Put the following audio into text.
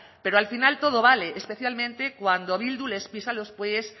pero al final todo vale especialmente cuando bildu les pisan los pies